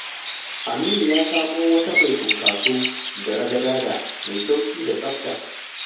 Aminu ya samo wata mai funkaso da ragadada mai sauƙi da tsabta.